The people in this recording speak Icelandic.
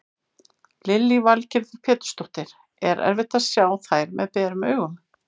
Lillý Valgerður Pétursdóttir: Er erfitt að sjá þær með berum augum?